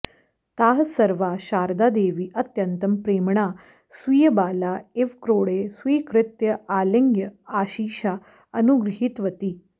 ताः सर्वाः शारदादेवी अत्यन्तं प्रेम्णा स्वीयबाला इव क्रोडे स्वीकृत्य आलिङ्ग्य आशिषा अनुगृहीतवती